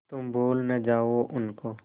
तुम भूल न जाओ उनको